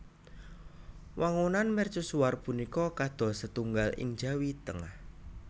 Wangunan mercusuar punika kados setunggal ing Jawi Tengah